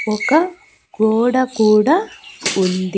ఒక గోడ కూడా ఉంది.